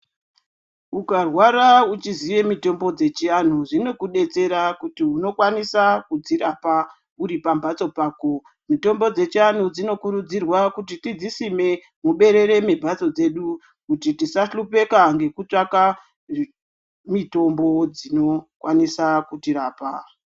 Ukarwara uchiziya mitombo dzechianhu zvinokudetsera kuti unokwanisa kudzirapa uripambatso pako mitombo dzechianhu dzinokurudzirwa kuti tidzisime muberere mwemhatso dzedu kuti tisahlupeka ngekutsvaka mitombo dzinokwanisa kutirapa.